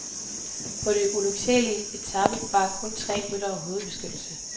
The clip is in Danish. På den ulyksalige etape bar kun tre ryttere hovedbeskyttelse.